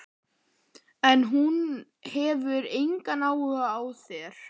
En hún hefur engan áhuga á þér.